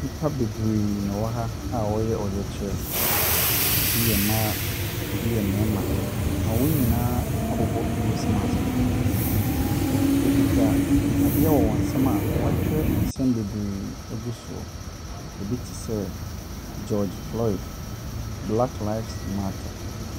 Nnipa bebree na ɛwɔ ha a wɔreyɛ ɔyɛkyerɛ. Ebi yɛ mmaa, ebi yɛ mmarima . Wɔn nyinaa abobɔ nose mask. Ɔkutakuta adeɛ wɔ wɔn nsam a wɔakyerɛ nsɛm bebree agu soɔ. Ebi te sɛ George Floyd Black Lives matter.